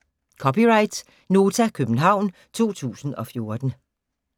(c) Nota, København 2014